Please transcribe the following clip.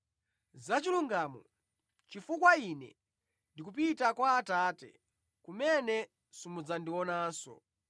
Za chilungamo, chifukwa Ine ndi kupita kwa Atate, kumene simudzandionanso.